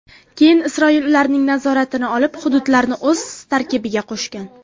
Keyin Isroil ularning nazoratini olib, hududlarni o‘z tarkibiga qo‘shgan.